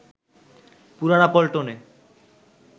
পুরানা পল্টনে